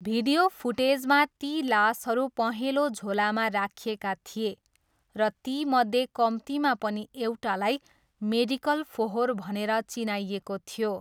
Video फुटेजमा ती लासहरू पहेँलो झोलामा राखिएका थिए र तीमध्ये कम्तीमा पनि एउटालाई 'मेडिकल फोहोर' भनेर चिनाइएको थियो।